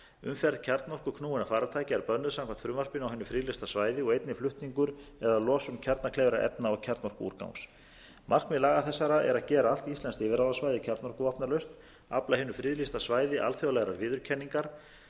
umferð kjarnorkuknúinna farartækja er bönnuð samkvæmt frumvarpinu á hinu friðlýsta svæði og einnig flutningur eða losun kjarnakleyfra efna og kjarnorkuúrgangs markmið laga þessara er að gera allt íslenskt yfirráðasvæði kjarnorkuvopnalaust afla hinu friðlýsta svæði alþjóðlegrar viðurkenningar sem er að